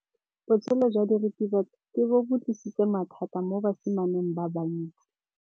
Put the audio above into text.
Botshelo jwa diritibatsi ke bo tlisitse mathata mo basimaneng ba bantsi.